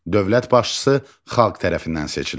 Dövlət başçısı xalq tərəfindən seçilir.